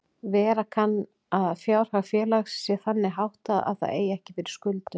Vera kann að fjárhag félags sé þannig háttað að það eigi ekki fyrir skuldum.